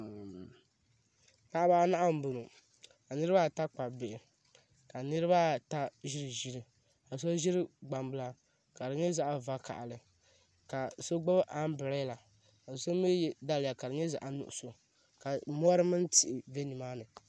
Paɣaba anahi n boŋo ka niraba ata kpabi bihi ka niraba ata ʒi ʒili ka so ʒiri gbambila ka di nyɛ zaɣ vakaɣali ka so gbubi anbirɛla ka so mii yɛ daliya ka di nyɛ zaɣ nuɣso ka mori mini tihi bɛ nimaani